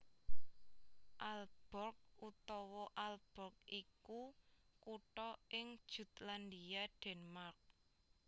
Aalborg utawa Ålborg iku kutha ing Jutlandia Denmark